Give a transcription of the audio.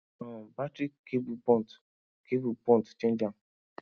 um battery cable burnt cable burnt change am